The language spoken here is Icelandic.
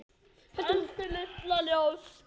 Elsku litla ljós.